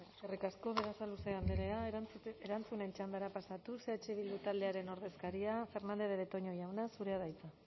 asetuz besterik ez eskerrik asko eskerrik asko berasaluze andrea erantzunen txandara pasatuz eh bildu taldearen ordezkaria fernandez de betoño jauna zurea da hitza